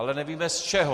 Ale nevím z čeho.